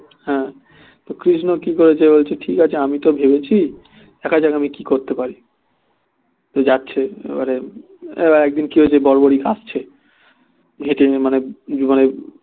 হ্যাঁ তো কৃষ্ণ কি করেছে বলছে আমি তো ভেবেছি দেখা যাক আমি কি করতে পারি তো যাচ্ছে এবারে একদিন কি হয়েছে বর্বরী কাঁদছে জেতেনি মানে জীবনে